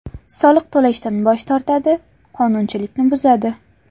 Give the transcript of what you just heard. Soliq to‘lashdan bosh tortadi, qonuchilikni buzadi.